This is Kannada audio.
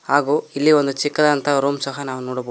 ಹಾಗೂ ಇಲ್ಲಿ ಒಂದು ಚಿಕ್ಕದಾದಂತ ರೂಮ್ ಸಹ ನಾವು ನೋಡ ಬೋದ್.